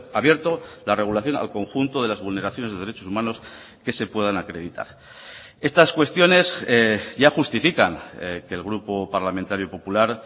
abierto la regulación al conjunto de las vulneraciones de derechos humanos que se puedan acreditar estas cuestiones ya justifican que el grupo parlamentario popular